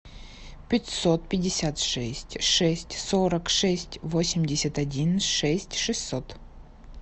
пятьсот пятьдесят шесть шесть сорок шесть восемьдесят один шесть шестьсот